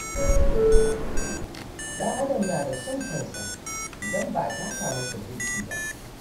Ɗan Adam na da son kansa idan ba a taka masa birki ba